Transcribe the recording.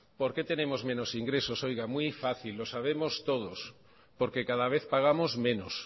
porque tenemos menos ingresos muy fácil lo sabemos todos porque cada vez pagamos menos